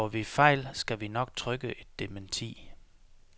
Laver vi fejl, skal vi nok trykke et dementi.